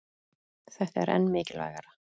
Þetta er enn mikilvægara